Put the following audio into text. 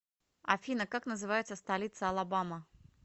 афина как называется столица алабама